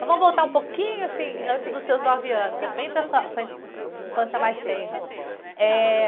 Então vamos voltar um pouquinho, assim, antes dos seus nove anos, é bem para a sua, sua in, infância mais tenra. Eh...